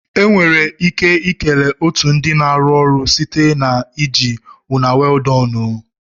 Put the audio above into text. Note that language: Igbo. Enwere ike kelee otu ndị na-arụ ọrụ site na iji " una well done o".